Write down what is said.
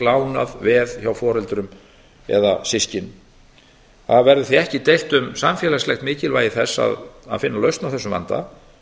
lánað veð hjá foreldrum eða systkinum það verður því ekki deilt um samfélagslegt mikilvægi þess að finna lausn á þessum vanda